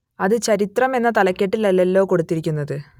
അത് ചരിത്രം എന്ന തലക്കെട്ടിൽ അല്ലല്ലോ കൊടുത്തിരിക്കുന്നത്